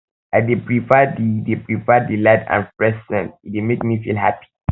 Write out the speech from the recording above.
i dey prefer di dey prefer di light and fresh scents e dey make me feel happy